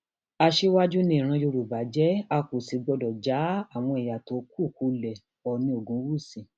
aṣíwájú ni ìran yorùbá jẹ a kò sì gbọdọ já àwọn ẹyà tó kù kulẹ oòní ogunwúsì